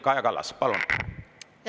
Kaja Kallas, palun!